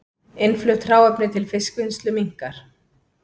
Innflutt hráefni til fiskvinnslu minnkar